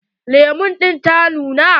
Lemu ɗin ta nuna ko?